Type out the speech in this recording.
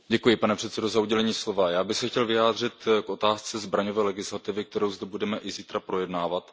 Pane předsedající, já bych se chtěl vyjádřit k otázce zbraňové legislativy, kterou zde budeme i zítra projednávat.